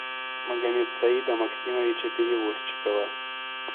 магомедсаида максимовича перевозчикова